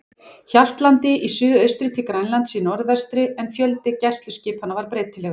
Hjaltlandi í suðaustri til Grænlands í norðvestri, en fjöldi gæsluskipanna var breytilegur.